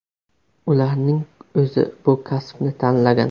Ularning o‘zi bu kasbni tanlagan.